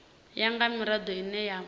ya nga mirado ine ya